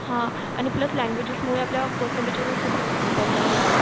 आणि प्लस ल्यांग्युएजेसमूळे आपल्या पेसेंटेज वर खूप हे होत परिणाम होतो.